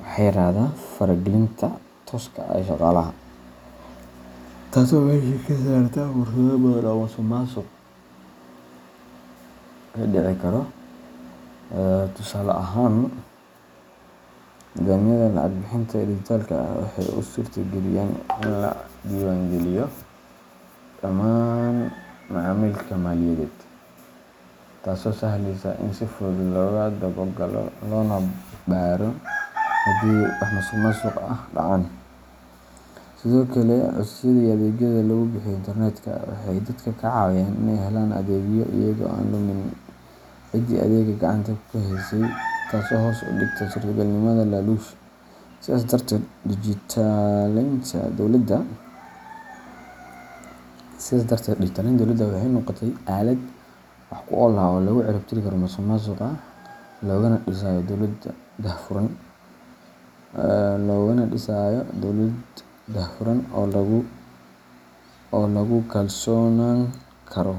waxaa yaraada faragelinta tooska ah ee shaqaalaha, taasoo meesha ka saarta fursado badan oo musuqmaasuq ka dhici karo. Tusaale ahaan, nidaamyada lacag bixinta ee dijitaalka ah waxay u suurtageliyaan in la diiwaangeliyo dhammaan macaamilka maaliyadeed, taasoo sahleysa in si fudud loo daba galo loona baaro haddii wax musuqmaasuq ah dhacaan. Sidoo kale, codsiyada iyo adeegyada lagu bixiyo internet-ka waxay dadka ka caawiyaan in ay helaan adeegyo iyaga oo aan la kulmin ciddii adeegga gacanta ku haysay, taasoo hoos u dhigta suurtagalnimada laaluush. Sidaas darteed, dijitaleynta dowladda waxay noqotay aalad wax ku ool ah oo lagu cirib tirayo musuqmaasuqa loogana dhisayo dowlad daahfuran oo lagu kalsoonaan karo.